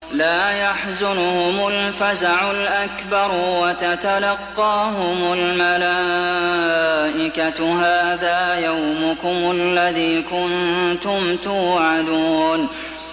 لَا يَحْزُنُهُمُ الْفَزَعُ الْأَكْبَرُ وَتَتَلَقَّاهُمُ الْمَلَائِكَةُ هَٰذَا يَوْمُكُمُ الَّذِي كُنتُمْ تُوعَدُونَ